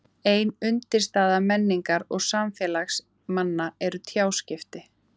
Ein undirstaða menningar og samfélags manna eru tjáskipti.